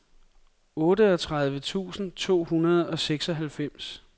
otteogtredive tusind to hundrede og seksoghalvfems